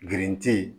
Girinti